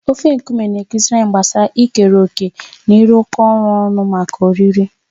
Ofe nkume na-akụziri anyị gbasara ikere òkè na ịrụkọ ọrụ ọnụ maka oriri.